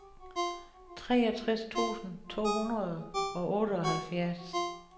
treogtres tusind to hundrede og otteoghalvfjerds